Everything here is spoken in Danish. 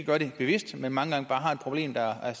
gør det bevidst men mange gange bare har et problem der er